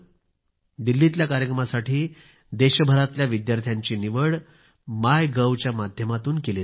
दिल्लीतील कार्यक्रमासाठी देशभरातल्या विद्यार्थ्यांची निवड माय गोव च्या माध्यमातून केली जाईल